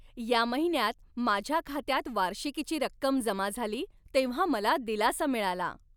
या महिन्यात माझ्या खात्यात वार्षिकीची रक्कम जमा झाली तेव्हा मला दिलासा मिळाला.